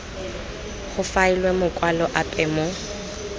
go faelwe makwalo ape mo